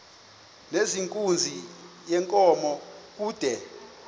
nezenkunzi yenkomo kude